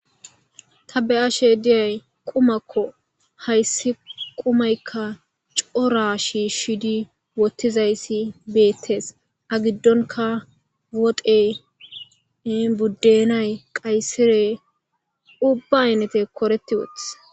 Ta beyashe deyi qumako hayisi qumayi coora shishidi wothidayisi betesi aa giddonika woxeyi budenayi qayisirey ubba ayinateyi koreti utisi.